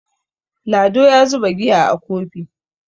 Lado ya zuba giya a Kofi